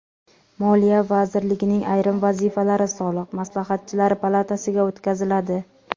Moliya vazirligining ayrim vazifalari Soliq maslahatchilari palatasiga o‘tkaziladi.